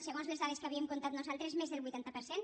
segons les dades que havíem comptat nosaltres més del vuitanta per cent